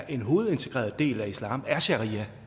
en hovedintegreret del af islam er sharia